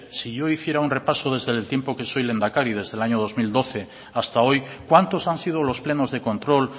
si yo hiciera un repaso desde el tiempo que soy lehendakari desde el año dos mil doce hasta hoy cuantos han sido los plenos de control